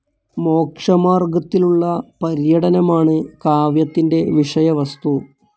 മോക്ഷമാർഗത്തിലുള്ള പര്യടനമാണ് കാവ്യത്തിൻ്റെ വിഷയവസ്തു.